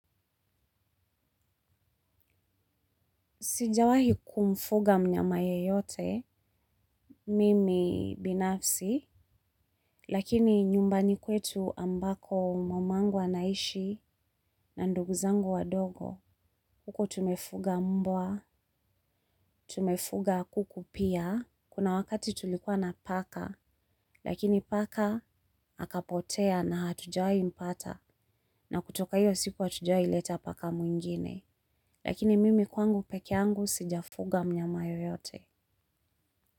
Sijawahi kumfuga mnyama yeyote, mimi binafsi, lakini nyumbani kwetu ambako mamangu anaishi na nduguzangu wadogo, huko tumefuga mbwa, tumefuga kuku pia, kuna wakati tulikuwa na paka, lakini paka akapotea na hatujawai mpata, na kutoka hiyo siku hatujawai leta paka mwingine, lakini mimi kwangu pekee yangu sijafuga mnyama yoyote.